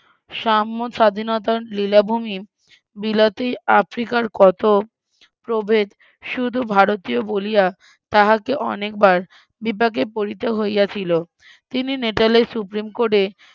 সাম্য স্বাধীনতার লীলাভুমি বিলাতে আফ্রিকার কত প্রভেদ শুধু ভারতীয় বলিয়া তাহাকে অনেকবার বিপাকে পড়িতে হইয়াছিল, তিনি মেটালের সুপ্রিমকোর্টে,